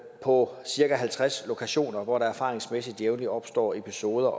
på cirka halvtreds lokationer hvor der erfaringsmæssigt jævnligt opstår episoder